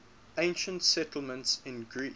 ancient settlements in greece